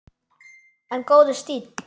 En góður stíll!